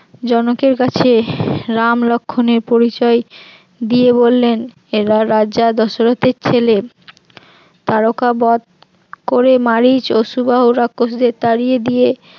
জনকের কাছে রাম লক্ষণ এর পরিচয় দিয়ে বললেন এরা রাজা দশরথের ছেলে তারকা বধ করে মারিচ ও সুবাহু রাক্ষসদের তাড়িয়ে দিয়ে